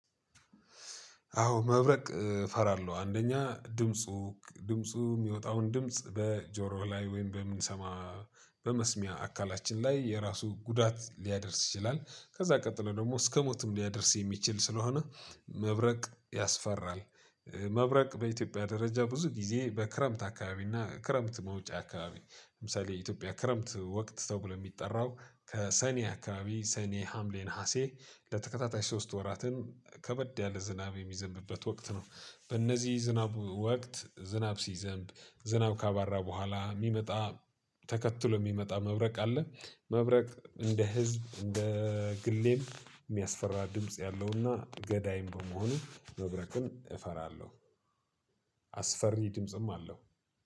አዎ መብረቅ እፈራለሁ አንደኛ ድምፁ ድምፁ የሚወጣውን ድምጽ በጆሮ ላይ ወይም በምንሰማ በመስሚያ አካላችን ላይ የራሱ ጉዳት ሊያደርስ ይችላል ከዛ ቀጥሎ ደግሞ እስከ ሞትም ሊያደርስ የሚችል ስለሆነ መብረቅ ያስፈራል። መብረቅ በኢትዮጵያ ደረጃ ብዙ ጊዜ በክረምት አካባቢ እና ክረምት መውጫ አካባቢ ለምሳሌ የኢትዮጵያ ክረምት ወቅት ተብሎ የሚጠራው ከሰኔ አካባቢ ሰኔ ሀምሌ ነሀሴ ለተከታታይ ሶስት ወራትን ከበድ ያለ ዝናብ የሚዘንብበት ወቅት ነው። በእነዚህ ዝናብ ወቅት ዝናብ ሲዘንብ ዝናብ ካባራ በኋላ የሚመጣ ተከትሎ የሚመጣ መብረቅ አለ። መብረቅ እንደ ህዝብ እንደ ግሌም የሚያስፈራ ድምጽ ያለውና ገዳይም በመሆኑ መብረቅን እፈራለሁ። አስፈሪ ድምጽም አለው።